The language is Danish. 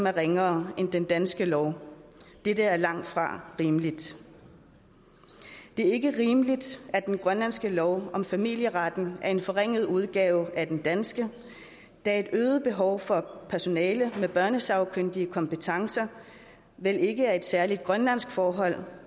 er ringere end den danske lov dette er langtfra rimeligt det er ikke rimeligt at den grønlandske lov om familieret er en forringet udgave af den danske da et øget behov for personale med børnesagkyndige kompetencer vel ikke er et særligt grønlandsk forhold